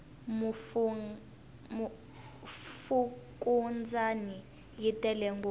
fukundzani yi tele ngopfu